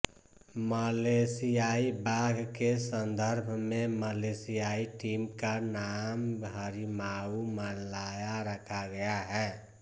मलेशियाई बाघ के संदर्भ में मलेशियाई टीम का नाम हरिमाऊ मलाया रखा गया है